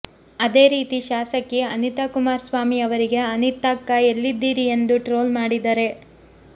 ಅದೇ ರೀತಿ ಶಾಸಕಿ ಅನಿತಾ ಕುಮಾರಸ್ವಾಮಿಯವರಿಗೆ ಅನಿತಕ್ಕಾ ಎಲ್ಲಿದ್ದೀರಿ ಎಂದು ಟ್ರೋಲ್ ಮಾಡಿದರೆ